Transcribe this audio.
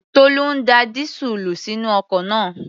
Tolú ń da dísúùlù sínú ọkọ̀ náà